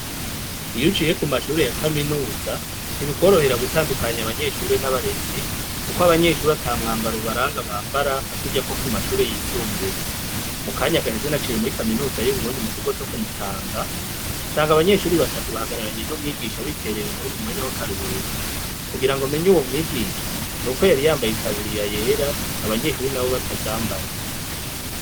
Iyuciye ku mashuri ya kaminuza ntibikworohera gutandukanya abanyeshure n'abarezi, kuko abanyeshuri ata mwambara ubaranga bambara nka kurya ko ku mashure yisumbuye mu kanyagahe zinaciye muri kaminuza yo burundi mu kigo co kumutanga sanga abanyeshuri batatu bahagararanye n'umwigisha biterera inkuru mu mwanya w'akarurko kugira ngo menya uwo mwigie shnuko yariyambaye itaburiya yera abanyeshuri na bo batazambaye.